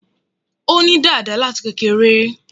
Ó ní dàda láti kékeré